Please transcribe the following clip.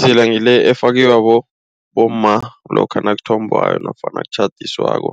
Idzila ngile efakwa bomma lokha nakuthombwako nofana nakutjhadiswako